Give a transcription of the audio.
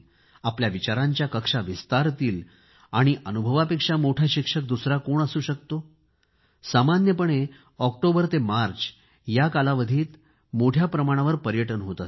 आपल्या विचारांच्या कक्षा विस्तारतील आणि अनुभवापेक्षा मोठा शिक्षक दुसरा कोण असू शकतो सामान्यपणे ऑक्टोबर ते मार्च या कालावधीत मोठ्या प्रमाणावर पर्यटन होत असते